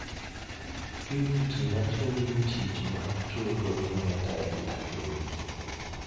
Purity wacho ni tich mar chodo en atari ahinya.